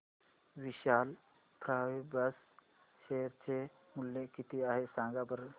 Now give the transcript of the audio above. विशाल fabrics share चे मूल्य किती आहे सांगा बरं